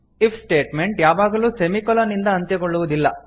if statement ಯಾವಾಗಲೂ semicolon ನಿಂದ ಅಂತ್ಯಗೊಳ್ಳುವುದಿಲ್ಲ